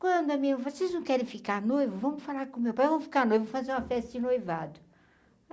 Quando, vocês não querem ficar noivo, vamos falar com o meu pai, vamos ficar noivo, fazer uma festa de noivado.